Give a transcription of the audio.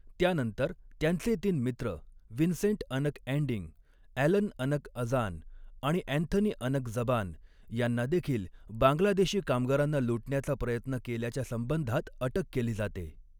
त्यानंतर, त्यांचे तीन मित्र, विन्सेंट अनक ॲंडिंग, ॲलन अनक अजान आणि अँथनी अनक जबान, यांना देखील बांगलादेशी कामगारांना लुटण्याचा प्रयत्न केल्याच्या संबंधात अटक केली जाते.